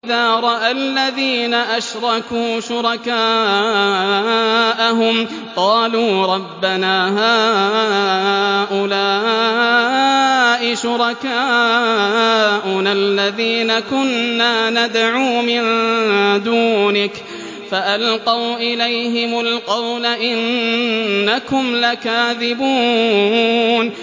وَإِذَا رَأَى الَّذِينَ أَشْرَكُوا شُرَكَاءَهُمْ قَالُوا رَبَّنَا هَٰؤُلَاءِ شُرَكَاؤُنَا الَّذِينَ كُنَّا نَدْعُو مِن دُونِكَ ۖ فَأَلْقَوْا إِلَيْهِمُ الْقَوْلَ إِنَّكُمْ لَكَاذِبُونَ